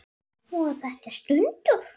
Voru þetta stunur?